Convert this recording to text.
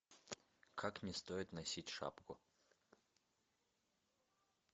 как не стоит носить шапку